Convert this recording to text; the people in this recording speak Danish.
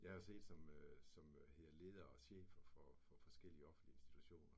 Jeg har siddet som øh som hvad er det det hedder leder og chefer for for forskellige offentlige institutioner